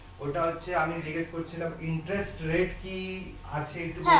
ঐটা হচ্ছে আমি জিজ্ঞেস করছিলাম interest rate কি আছে একটু বলতে পারবেন